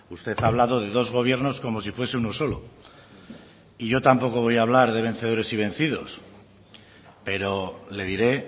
usted ha hablado de dos gobiernos como si fuese uno solo y yo tampoco voy a hablar de vencedores y vencidos pero le diré